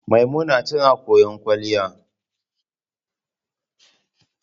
Maimuna tana koyon kwalliya.